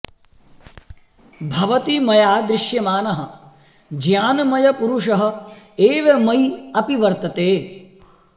भवति मया दृश्यमानः ज्ञानमयपुरुषः एव मयि अपि वर्तते